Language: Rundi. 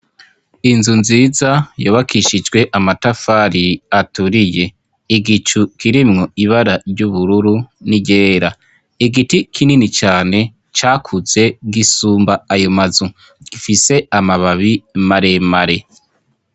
Inzu nziza yubakishijwe amatafari aturiye. Igicu kirimwo ibara ry'ubururu n'iryera. Igiti kinini cane cakuze gisumba ayo mazu; gifise amababi maremare.